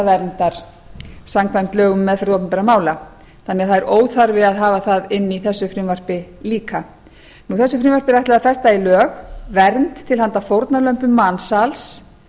vitnaverndar samkvæmt lögum um meðferð opinberra mála þannig að það er óþarfi að hafa það inni í þessu frumvarpi líka þessu frumvarpi er ætlað að festa í lög vernd til handa fórnarlömb mansals